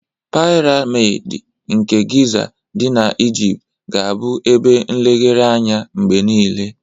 Piramid nke Giza dị na Ejipt ga-abụ ebe nlegharị anya mgbe niile.